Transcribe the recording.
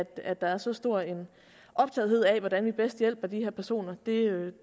at der er så stor optagethed af hvordan vi bedst hjælper de her personer det